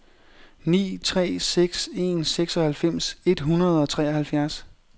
ni tre seks en seksoghalvfems et hundrede og treoghalvfjerds